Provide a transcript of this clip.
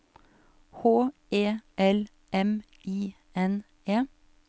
H E L M I N E